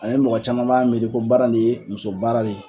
Ani mɔgɔ caman b'a miiri ko baara lee muso baara le